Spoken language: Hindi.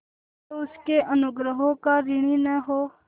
जो उसके अनुग्रहों का ऋणी न हो